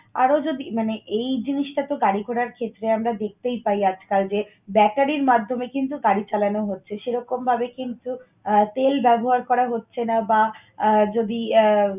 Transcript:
আরো যদি মানে এই জিনিসটাতো গাড়ি ঘোড়ার ক্ষেত্রে আমরা দেখতেই পাই আজকাল যে, ব্যাটারির মাধ্যমে কিন্তু গাড়ি চালানো হচ্ছে। সেরকমভাবে কিন্তু আহ তেল ব্যবহার করা হচ্ছে না বা আহ যদি আহ